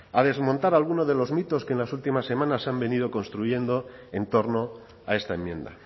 a desmontar alguno de los mitos que en las últimas semanas se han venido construyendo en torno a esta enmienda